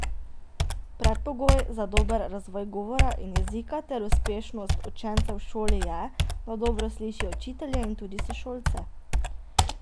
Predpogoj za dober razvoj govora in jezika ter uspešnost učencev v šoli je, da dobro slišijo učitelje in tudi sošolce.